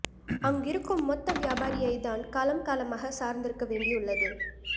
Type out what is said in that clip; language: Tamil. அங்கிருக்கும் மொத்த வியாபாரியை தான் காலம் காலமாக சார்ந்திருக்க வேண்டியுள்ளது